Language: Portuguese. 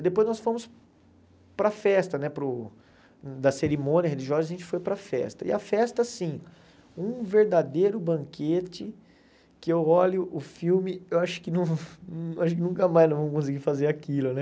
E depois nós fomos para a festa né, para o da cerimônia religiosa, a gente foi para a festa, e a festa sim, um verdadeiro banquete, que eu olho o filme, eu acho que não a gente nunca mais nós vamos conseguir fazer aquilo, né?